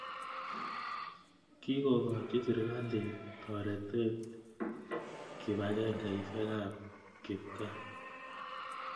Kokokochi sirikalit taretet kipakengeisyek ap kipkaa.